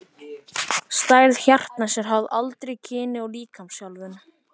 Stærð hjartans er háð aldri, kyni og líkamsþjálfun.